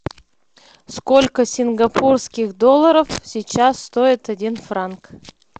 сколько сингапурских долларов сейчас стоит один франк